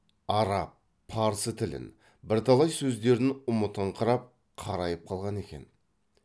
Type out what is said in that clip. арап парсы тілін бірталай сөздерін ұмытыңқырап қарайып қалған екен